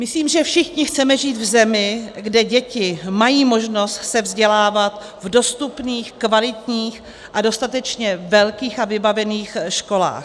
Myslím, že všichni chceme žít v zemi, kde děti mají možnost se vzdělávat v dostupných, kvalitních a dostatečně velkých a vybavených školách.